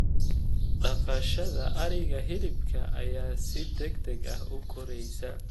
Dhaqashada ariga hilibka ayaa si degdeg ah u koraysa.